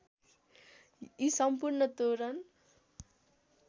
यी सम्पूर्ण तोरण